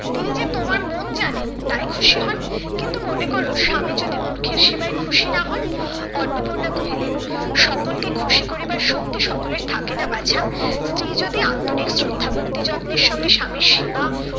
তিনি যে তোমার মন জানেন তাই খুশি হন, কিন্তু মনে করো স্বামী যদি মূর্খের সেবায় খুশি না হন? অন্নপূর্ণা কহিলেন, সকলকে খুশি করিবার শক্তি সকলের থাকে না বাছা। স্ত্রী যদি আন্তরিক শ্রদ্ধা ভক্তি যত্নের সঙ্গে স্বামীর সেবা